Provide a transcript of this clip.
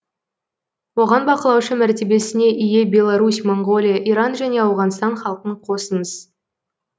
оған бақылаушы мәртебесіне ие беларусь моңғолия иран және ауғанстан халқын қосыңыз